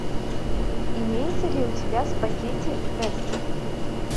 имеется ли у тебя в пакете вестерн